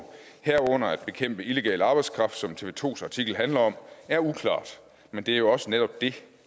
herunder at bekæmpe illegal arbejdskraft som tv to artikel handler om er uklart men det er jo også netop det